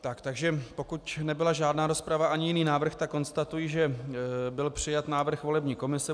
Takže pokud nebyla žádná rozprava ani jiný návrh, tak konstatuji, že byl přijat návrh volební komise.